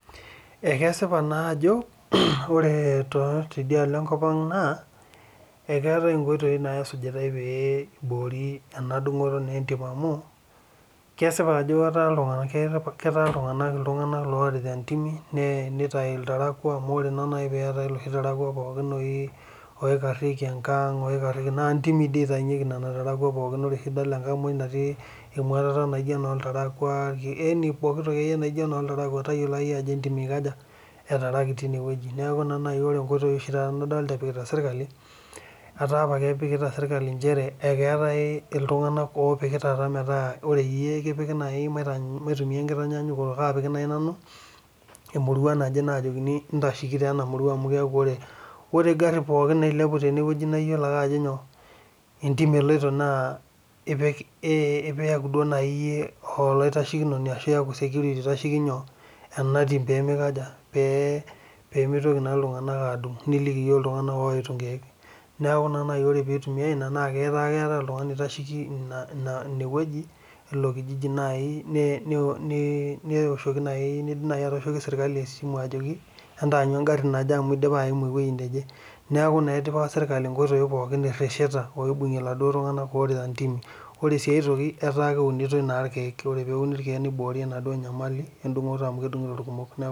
Ekesipa naa Ajo ore tidialo enkop Ang eketae enkoitoi nasujitai pee eborie naa ena dungoto entim amu kesipa Ajo etaa iltung'ana loorita entimi nitau iltarakua amu ore taa naaji pee etae eloshi tarakua oikariekie engang naa ntimi oshi eitawunyieki nena tarakwa neeku tenidol engag natii emwatata naijio enoo iltarakwa yaani pooki toki akeyie naijio enoo iltarakua tayiolo Ajo entim etaraki tine neeku ena naaji ore enkoitoi nadolita epikitae sirkali etaa apa kepikita sirkali njere eketae iltung'ana laa kepiki ore iyie ekipiki naitumia enkitanyanyukoto kapiki najii nanu emurua naje najokini entasheki enamurua amu keeku ore egari nailepua tene naa eyiolo ake Ajo entim eloito neeku najii eyie olaitashekinoni ashu eyaku security oitasheki ena tim pee mitoki iltung'ana adung nilikii iltung'ana odungito enkeek neeku naaaji ore pee eitumiai ena netaa keetae oltung'ani oitasheki enewueji elo Kijiji kidim najii atoshoki sirkali esimu ajoki entanyu egari naaje amu edipa ayimu ewueji nejee neeku etipika sirkali eresheta orita entimi ore sii aitoki etaa keunitoi irkeek ore peuni irkeek niborie enaduo nyamali edungoto